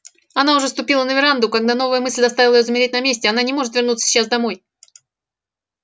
она уже ступила на веранду когда новая мысль заставила её замереть на месте она не может вернуться сейчас домой